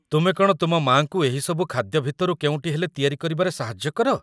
ତୁମେ କ'ଣ ତୁମ ମା'ଙ୍କୁ ଏହି ସବୁ ଖାଦ୍ୟ ଭିତରୁ କେଉଁଟି ହେଲେ ତିଆରି କରିବାରେ ସାହାଯ୍ୟ କର?